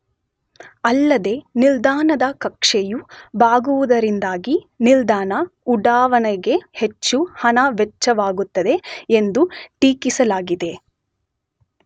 ಅಲ್ಲದೇ ನಿಲ್ದಾಣದ ಕಕ್ಷೆಯು ಬಾಗುವುದರಿಂದಾಗಿ ನಿಲ್ದಾಣ ಉಡಾವಣೆಗೆ ಹೆಚ್ಚು ಹಣ ವೆಚ್ಚವಾಗುತ್ತದೆ ಎಂದೂ ಟೀಕಿಸಲಾಗಿದೆ.